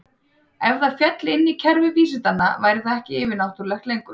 Ef það félli inn í kerfi vísindanna væri það ekki yfir-náttúrulegt lengur.